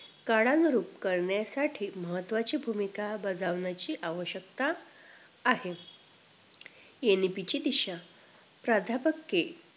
काळानरूप कळण्यासाटी महत्वची भूमिका बजावण्याची आवशक्यता आहे NEP ची दिशा प्राध्यपके